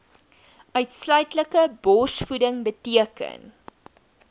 uitsluitlike borsvoeding beteken